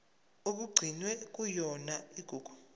okugcinwe kuyona igugu